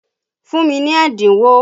Fún mi ní ẹ́dínwó!